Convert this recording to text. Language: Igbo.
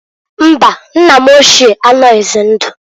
Mbaǃ Nna ochie m anoghizi ndụ.